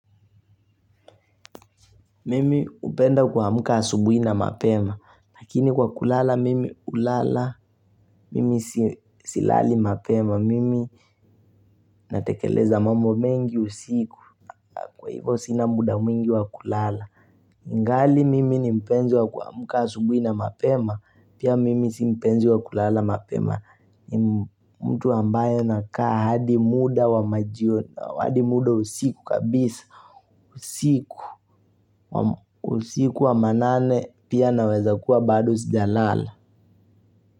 Mimi hupenda kuamka asubuhi na mapema, lakini kwa kulala mimi hulala, mimi silali mapema, mimi natekeleza mambo mengi usiku, kwa hivyo sina muda mwingi wa kulala. Ngali mimi ni mpenzi wa kuamka asubuhi na mapema, pia mimi si mpenzi wa kulala mapema, mtu ambaye nakaa hadi muda wa majioni, hadi muda usiku kabisa, usiku. Usiku wa manane pia naweza kuwa bado sijalala.